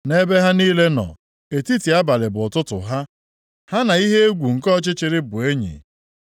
Nʼebe ha niile nọ, etiti abalị bụ ụtụtụ ha, ha na ihe egwu nke ọchịchịrị bụ enyi.